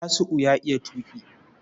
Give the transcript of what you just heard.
Tasiu ya iya tuƙi.